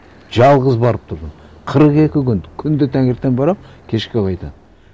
жалғыз барып тұрдым қырық екі күн күнде таңертең барамын кешке қайтамын